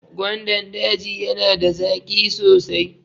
Gwandan daji yana da zaƙi sosai.